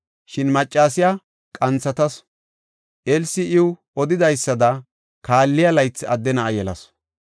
Shin maccasiya qanthatasu; Elsi iw odidaysada, kaalliya laythi adde na7a yelasu.